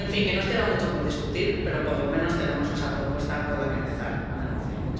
En fin, que nos queda mucho por discutir, pero por lo menos tenemos esa propuesta con la que empezar a negociar.